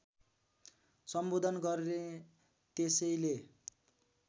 सम्बोधन गर्ने त्यसैले